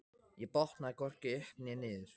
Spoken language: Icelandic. Ég botnaði hvorki upp né niður.